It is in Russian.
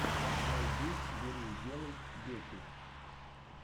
найди бери и делай дети